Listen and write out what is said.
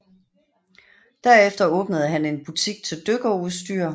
Derefter åbnede han en butik til dykkerudstyr